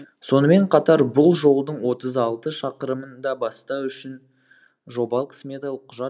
сонымен қатар бұл жолдың отыз алты шақырымын да бастау үшін жобалық сметалық құжат